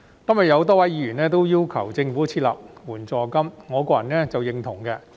今天有多位議員要求政府設立援助金，我個人是認同的。